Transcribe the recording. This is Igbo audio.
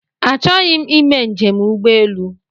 Achọghị m ime njem ụgbọelu